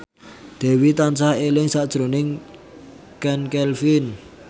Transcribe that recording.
Dewi tansah eling sakjroning Chand Kelvin